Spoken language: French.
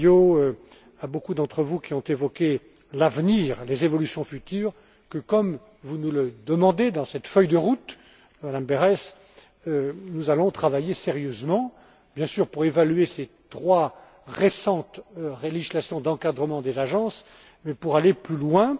à M. Feio, à beaucoup d'entre vous qui ont évoqué l'avenir, les évolutions futures, que, comme vous nous le demandez dans cette feuille de route, Mme Berès, nous allons travailler sérieusement, bien sûr, pour évaluer ces trois récentes législations d'encadrement des agences, mais pour aller plus loin.